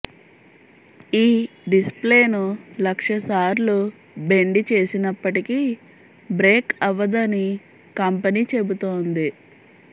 ఈ డిస్ప్లేను లక్ష సార్లు బెండి చేసినప్పటికి బ్రేక్ అవ్వదని కంపెనీ చెబుతోంది